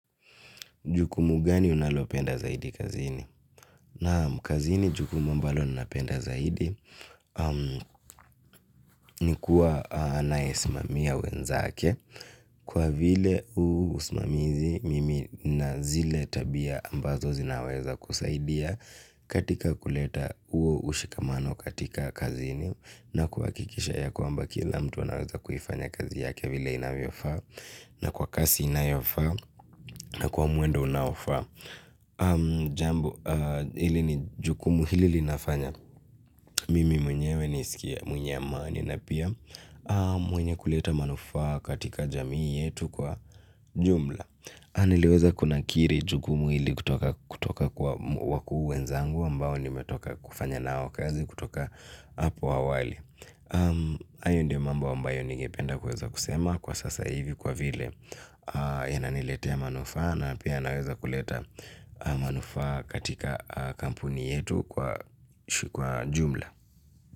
Jukumu gani unalopenda zaidi kazini? Naam kazini jukumu ambalo ninapenda zaidi. Ni kuwa anaye simamia wenzake kwa vile usimamizi mimi na zile tabia ambazo zinaweza kusaidia katika kuleta huo ushikamano katika kazini na kuhakikisha kila mtu anafanya kazi yake inavyo faa na kwa kasi inayofaa na kwa mwendo unaofaa. Jambo ili ni jukumu hili linafanya mimi mwenyewe niisikie mwenye amani. Na pia mwenye kuleta manufaa katika jamii yetu kwa jumla niliweza kunakiri jukumu hili kutoka kwa wakuu wenzangu ambao nimetoka kufanya nao kazi kutoka hapo awali hayo ndio mambo ambayo nigependa kweza kusema. Kwa sasa hivi kwa vile inaniletea manufaa na pia naweza kuleta manufaa katika kampuni yetu kwa jumla.